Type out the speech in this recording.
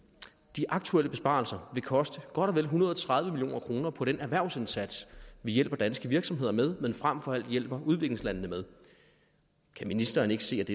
de aktuelle besparelser vil koste godt og vel en hundrede og tredive million kroner på den erhvervsindsats vi hjælper danske virksomheder med men frem for alt hjælper udviklingslandene med kan ministeren ikke se at